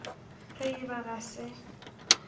ge e ba ga se